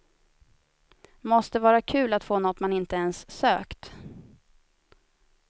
Måste vara kul att få något man inte ens sökt.